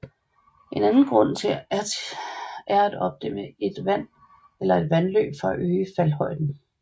En anden grund er at opdæmme et vand eller et vandløb for at øge faldhøjden